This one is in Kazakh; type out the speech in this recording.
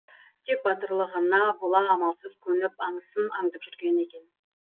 тек батырлығына бола амалсыз көніп аңысын аңдып жүр екен